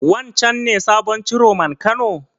Wancen ne sabon Ciroman Kano?